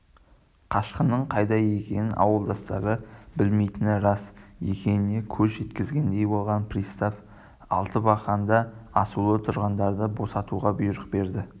қашқынның қайда жатқанын ауылдастары білмейтіні рас екеніне көзі жеткендей болған пристав алтыбақанда асулы тұрғандарды босатуға бұйрық берді